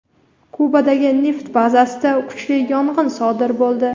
Kubadagi neft bazasida kuchli yong‘in sodir bo‘ldi.